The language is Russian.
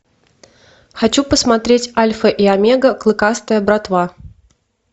хочу посмотреть альфа и омега клыкастая братва